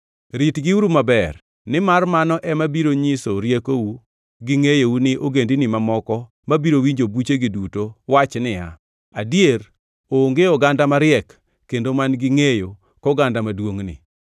Ritgiuru maber, nimar mano ema biro nyiso riekou gi ngʼeyou ni ogendini mamoko mabiro winjo buchegi duto wach niya, “Adier, onge oganda mariek kendo man-gi ngʼeyo koganda maduongʼni.”